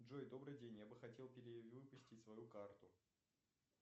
джой добрый день я бы хотел перевыпустить свою карту